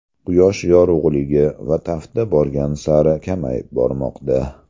Quyosh yorug‘ligi va tafti borgan sari kamayib bormoqda.